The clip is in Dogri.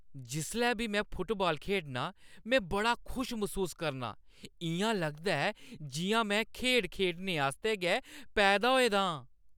जिसलै बी में फुटबाल खेढनां, में बड़ा खुश मसूस करनां। इʼयां लगदा ऐ जिʼयां में खेढ खेढने आस्तै गै पैदा होए दा आं।